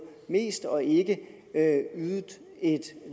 af